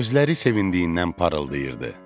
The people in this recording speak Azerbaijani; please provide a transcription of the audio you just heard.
Gözləri sevindiyindən parıldayırdı.